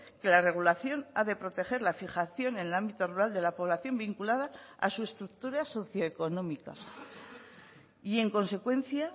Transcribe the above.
que la regulación ha de proteger la fijación en el ámbito rural de la población vinculada a su estructura socioeconómica y en consecuencia